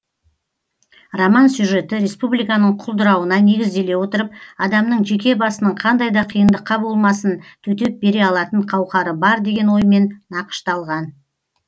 роман сюжеті республиканың құлдырауына негізделе отырып адамның жеке басының қандай да қиындыққа болмасын төтеп бере алатын қауқары бар деген оймен нақышталған